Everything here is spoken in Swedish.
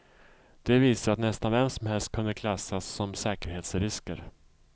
De visar att nästan vem som helst kunde klassas som säkerhetsrisker.